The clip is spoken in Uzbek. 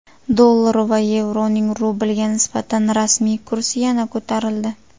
Dollar va yevroning rublga nisbatan rasmiy kursi yana ko‘tarildi.